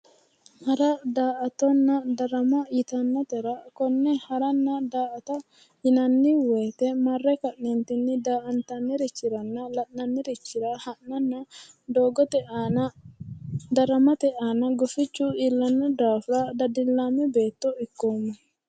Hara, daa"attonna ,darama yittanotera kone haranna daa"atta yinnanni woyte marre ka'neentini daa"attanirichira la'nannirichira ha'nanna doogote aana daramate aana gufichu iillano daafira dadilame beetto ikkoomma".